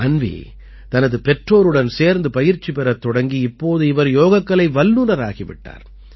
அன்வீ தனது பெற்றோருடன் சேர்ந்து பயிற்சி பெறத் தொடங்கி இப்போது இவர் யோகக்கலை வல்லுநராகி விட்டார்